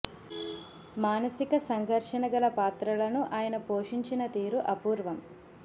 మానసిక సంఘర్షణ గల పాత్రలను ఆయన పోషించిన తీరు అపూ ర్వం